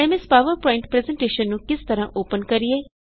aim S PowerPoint presentation ਨੂੰ ਕਿਸ ਤਰਹ ਅੋਪਨ ਕਰੀਏ